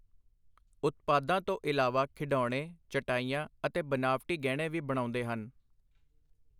ਉਤਪਾਦਾਂ ਤੋਂ ਇਲਾਵਾ ਖਿਡੌਣੇ, ਚਟਾਈਆਂ ਅਤੇ ਬਨਾਵਟੀ ਗਹਿਣੇ ਵੀ ਬਣਾਉਂਦੇ ਹਨ।